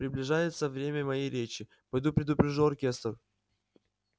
приближается время моей речи пойду предупрежу оркестр